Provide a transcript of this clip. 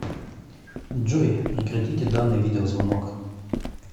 джой прекратите данный видеозвонок